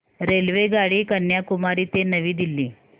रेल्वेगाडी कन्याकुमारी ते नवी दिल्ली